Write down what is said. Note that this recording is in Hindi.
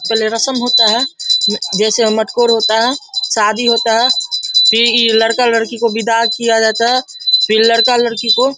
पहले रस्म होता है जैसे मटकोर होता है शादी होता है फिर ई लड़का-लड़की को विदा किया जाता है फिर लड़का-लड़की को --